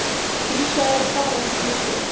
Dísa er að fara eftir smástund.